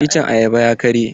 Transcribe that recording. Iccen ayaban ya karye.